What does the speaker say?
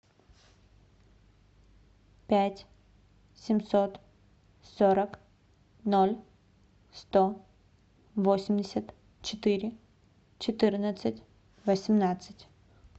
пять семьсот сорок ноль сто восемьдесят четыре четырнадцать восемнадцать